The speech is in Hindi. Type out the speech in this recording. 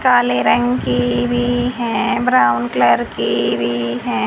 काले रंग की भी है ब्राउन कलर की भी हैं।